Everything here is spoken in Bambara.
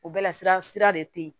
O bɛɛ la sira sira de te yen